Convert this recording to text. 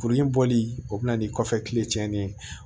Kurun in bɔli o bɛna ni kɔfɛ kile cɛnnen ye